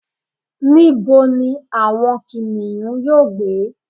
níbo ni àwọn kìnìún yíò gbé